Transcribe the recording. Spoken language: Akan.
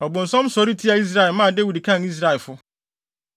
Ɔbonsam sɔre tiaa Israel, maa Dawid kan Israelfo.